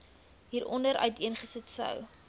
hieronder uiteengesit sou